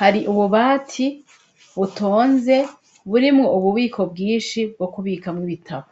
hari ububati butonze burimwo ububiko bwinshi bwo kubikamwo ibitabo.